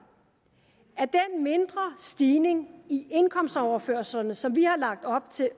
at den mindre stigning i indkomstoverførslerne som vi har lagt op til